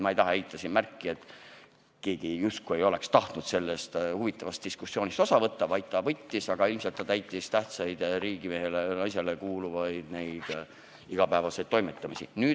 Ma ei taha kellelegi ette heita, et ta justkui poleks tahtnud sellest huvitavast diskussioonist osa võtta – ta võttis, aga ilmselt tegi ka muid tähtsaid riigimehe või -naise igapäevaseid toimetusi.